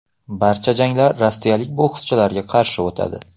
Barcha janglar rossiyalik bokschilarga qarshi o‘tadi.